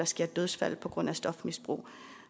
sker dødsfald på grund af stofmisbrug